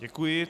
Děkuji.